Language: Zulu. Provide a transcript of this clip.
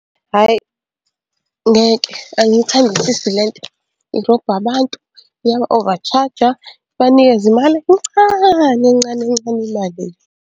Hhayi ngeke angiyithandisisi le nto, irobha abantu, iyaba-overcharger, ibanikeze imali encane, ncane, ncane imali le.